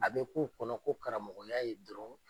A be k'u kɔnɔ ko karamɔgɔya ye dɔrɔn